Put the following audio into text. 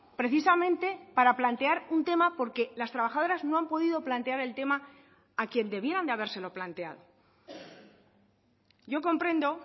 precisamente para plantear un tema porque las trabajadoras no han podido plantear el tema a quien debieran de habérselo planteado yo comprendo